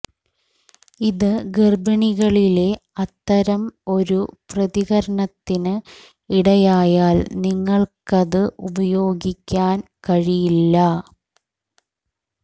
ഇത് ഗർഭിണികളിലെ അത്തരം ഒരു പ്രതികരണത്തിന് ഇടയായാൽ നിങ്ങൾക്കത് ഉപയോഗിക്കാൻ കഴിയില്ല